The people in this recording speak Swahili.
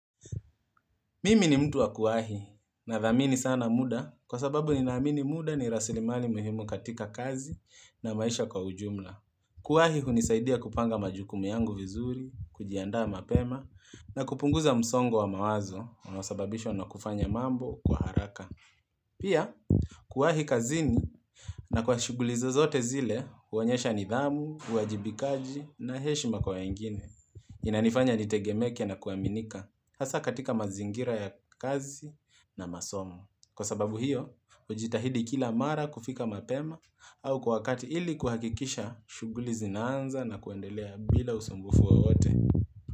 Mimi ni mtu wa kuahi nadhamini sana muda kwa sababu ninaamini muda ni rasilimali muhimu katika kazi na maisha kwa ujumla. Kuahi hunisaidia kupanga majukumu yangu vizuri, kujianda mapema na kupunguza msongo wa mawazo unasababishwa na kufanya mambo kwa haraka. Pia kuahi kazini na kwa shugulizi zote zile huonyesha nidhamu, uajibikaji na heshima kwa wengine. Inanifanya nitegemeke na kuaminika hasa katika mazingira ya kazi na masomo. Kwa sababu hiyo, hujitahidi kila mara kufika mapema au kwa wakati ili kuhakikisha shughuli zinaanza na kuendelea bila usumbufu wowote.